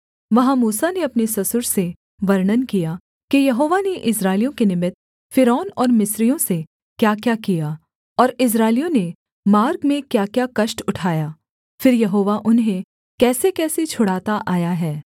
वहाँ मूसा ने अपने ससुर से वर्णन किया कि यहोवा ने इस्राएलियों के निमित्त फ़िरौन और मिस्रियों से क्याक्या किया और इस्राएलियों ने मार्ग में क्याक्या कष्ट उठाया फिर यहोवा उन्हें कैसेकैसे छुड़ाता आया है